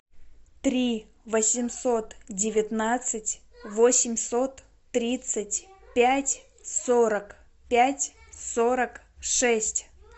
три восемьсот девятнадцать восемьсот тридцать пять сорок пять сорок шесть